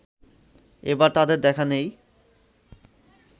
এবার তাদের দেখা নেই